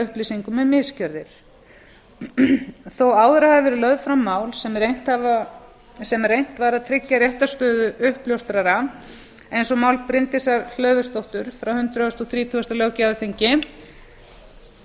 upplýsingum um misgjörðir þó áður hafi verið lögð fram mál þar sem reynt var að tryggja réttarstöðu uppljóstrara eins og mál bryndísar hlöðversdóttur frá hundrað og þrítugasta löggjafarþingi